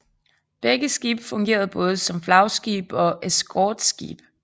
Begge skibe fungerede både som flagskib og eskorteskib